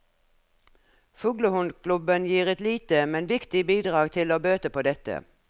Fuglehundklubben gir et lite, men viktig bidrag til å bøte på dette.